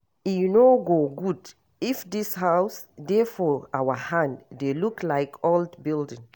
E no go good if dis house dey for our hand dey look like old building